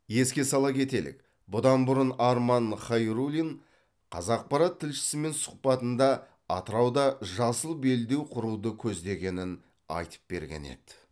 еске сала кетелік бұдан бұрын арман хайруллин қазақпарат тілшісімен сұхбатында атырауда жасыл белдеу құруды көздегенін айтып берген еді